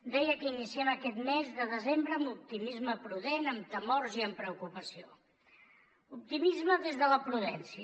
deia que iniciem aquest mes de desembre amb optimisme prudent amb temors i amb preocupació optimisme des de la prudència